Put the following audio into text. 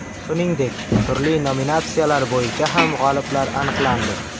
Shuningdek, turli nominatsiyalar bo‘yicha ham g‘oliblar aniqlandi.